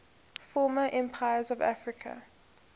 former empires of africa